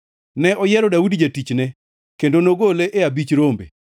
Ne oyiero Daudi jatichne, kendo nogole e abich rombe;